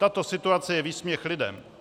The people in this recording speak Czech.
Tato situace je výsměch lidem.